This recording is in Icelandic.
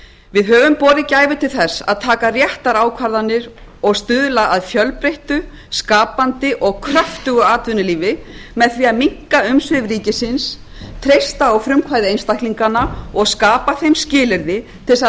við höfum borið gæfu til þess að taka réttar ákvarðanir og stuðla að fjölbreyttu skapandi og kröftugu atvinnulífi með því að minnka umsvif ríkisins treysta á frumkvæði einstaklinganna og skapa þeim skilyrði til þess að